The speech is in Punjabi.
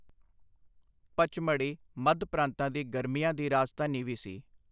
ਪਚਮੜੀ ਮੱਧ ਪ੍ਰਾਂਤਾਂ ਦੀ ਗਰਮੀਆਂ ਦੀ ਰਾਜਧਾਨੀ ਵੀ ਸੀ।